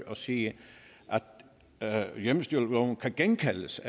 og sige at hjemmestyreloven kan kaldes